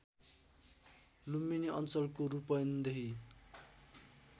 लुम्बिनी अञ्चलको रूपन्देही